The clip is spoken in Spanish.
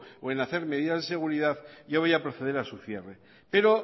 o en hacer medidas de seguridad yo voy a proceder a su cierre pero